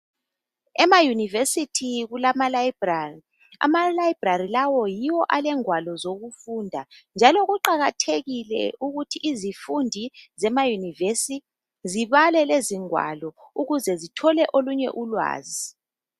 Emayunivesithi kulamalayibrari. Amalayibrari lawo yiwo elengwalo zokufunda, njalo kuqakathekile ukuthi izifundi zemayunivesi zibale lezi ingwalo ukuze zithole olunye ulwazi.